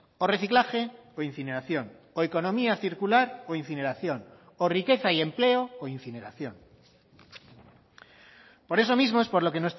o reciclaje o incineración o economía circular o incineración o riqueza y empleo o incineración por eso mismo es por lo que